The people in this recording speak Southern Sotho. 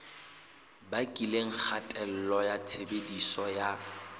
bakileng kgatello ya tshebediso ya